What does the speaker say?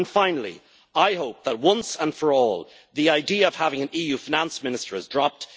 Finally, I hope that once and for all, the idea of having an EU finance minister is dropped.